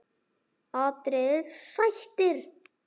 atriði: Sættir?